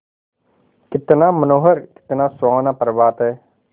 कितना मनोहर कितना सुहावना प्रभात है